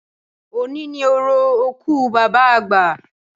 Òní ni orò òkú Bàbá àgbà